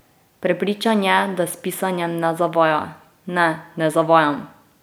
Prepričan je, da s pisanjem ne zavaja: "Ne, ne zavajam.